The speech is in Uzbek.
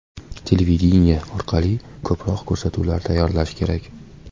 Televideniye orqali ko‘proq ko‘rsatuvlar tayyorlash kerak.